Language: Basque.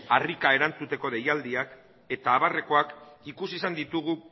harrika erantzuteko deialdiak eta abarrekoak ikusi izan ditugu